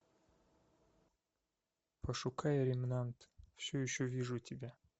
пошукай ремнант все еще вижу тебя